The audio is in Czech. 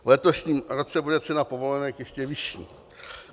V letošním roce bude cena povolenek ještě vyšší.